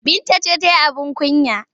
Binta ce ta yi abin kunya.